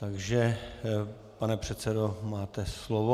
Takže pane předsedo, máte slovo.